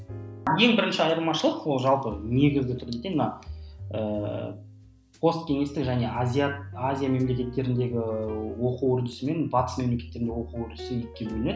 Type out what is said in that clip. ең бірінші айырмашылық ол жалпы негізі ііі пост кеңестік және азиат азия мемлекеттеріндегі оқу үрдісі мен батыс мемлекеттерінде оқу үрдісі екіге бөлінеді